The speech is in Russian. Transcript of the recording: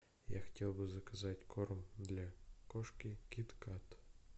я хотел бы заказать корм для кошки кит кат